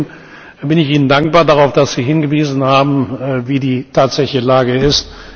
Im Übrigen bin ich Ihnen dankbar dafür, dass Sie darauf hingewiesen haben, wie die tatsächliche Lage ist.